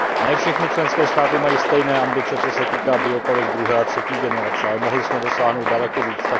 Ne všechny členské státy mají stejné ambice, co se týče biopaliv druhé a třetí generace, ale mohli jsme dosáhnout daleko víc.